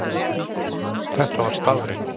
Þetta var staðreynd.